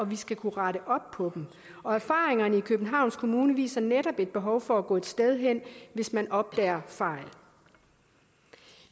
vi skal kunne rette op på den og erfaringerne i københavns kommune viser netop et behov for at gå et sted hen hvis man opdager fejl